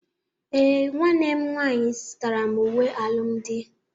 Ee, nwanne m nwaanyị zụtara m uwe alụmdi.